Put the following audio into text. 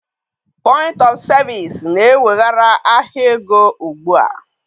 Point of Service na-eweghara ahịa ego ugbu a